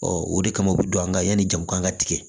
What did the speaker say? Ɔ o de kama u bɛ don an kan yanni jamu kan ka tigɛ